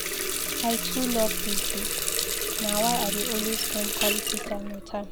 I too love dis babe, na why I dey always spend quality time wit am.